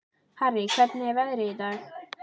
Harrý, hvernig er veðrið í dag?